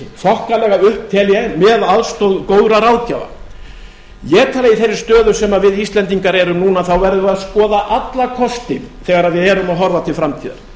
þokkalega upp tel ég með aðstoð góðra ráðgjafa ég tel að í þeirri stöðu sem við við íslendingar erum núna verðum við að skoða alla kosti þegar við erum að horfa til framtíðar